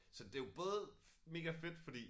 Så det jo både megafedt fordi